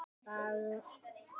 Kæri bróðir og frændi.